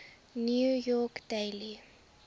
new york daily